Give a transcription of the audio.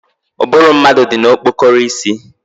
Ụbụrụ mmadụ dị na okpokoro isi